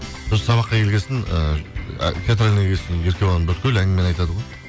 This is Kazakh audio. сосын сабаққа келген соң ыыы театральныйға келген соң еркебұлан бүткіл әңгімені айтады ғой